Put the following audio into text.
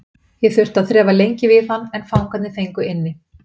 Ég þurfti að þrefa lengi við hann en fangarnir fengu inni.